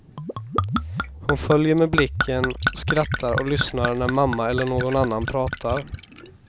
Hon följer med blicken, skrattar och lyssnar när mamma eller någon annan pratar.